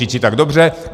Říci tak dobře.